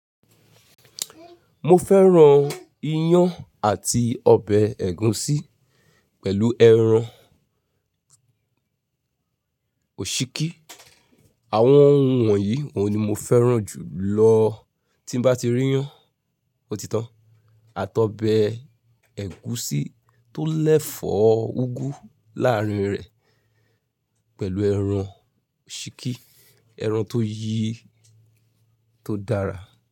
Mo fẹ́ran iyán àti ọbẹ̀ ẹ̀gúsí pẹ̀lú ẹran òsíkí. Àwọn oun wọ̀nyí oun ni mo fẹ́ran jù lọ tí bá ti ríyán ò tí tan. Àtọ̀bẹ̀ ẹ̀gúsí tó lẹ̀fọ̀ úgú láàárín rẹ̀ pẹ̀lú ẹran òsíkí, ẹran tó yi tó dára.